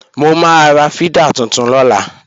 Mo máa ra fídà tuntun lọ́la